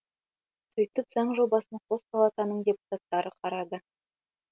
сөйтіп заң жобасын қос палатаның депутаттары қарады